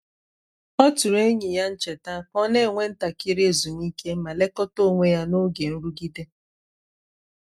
ọ tụrụ enyi ya n’cheta ka ọ na-ewe ntakịrị ezumike ma lekọta onwe ya n’oge nrụgide.